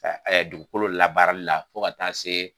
dugukolo labaarali la fo ka taa se